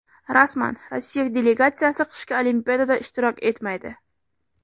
Rasman: Rossiya delegatsiyasi qishki Olimpiadada ishtirok etmaydi.